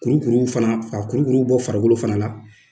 Kurukuruw fana, ka kurukuru bɔ farikolo fana la